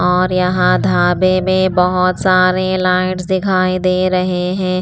और यहाँ धाबे में बहुत सारे लाइट्स दिखाई दे रहे हैं।